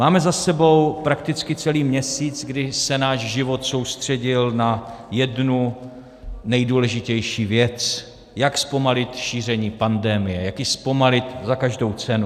Máme za sebou prakticky celý měsíc, kdy se náš život soustředil na jednu nejdůležitější věc - jak zpomalit šíření pandemie, jak ji zpomalit za každou cenu.